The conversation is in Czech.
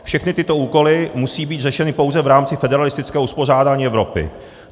Všechny tyto úkoly musí být řešeny pouze v rámci federalistického uspořádání Evropy."